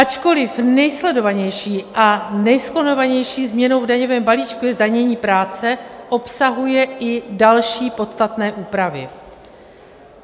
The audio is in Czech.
Ačkoliv nejsledovanější a nejskloňovanější změnou v daňovém balíčku je zdanění práce, obsahuje i další podstatné úpravy.